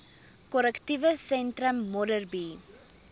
korrektiewe sentrum modderbee